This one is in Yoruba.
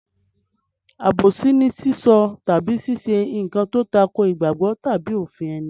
Àbòsí ni sísọ tàbí ṣíṣe nǹkan tó tako ìgbàgbọ́ tàbí òfin ẹni.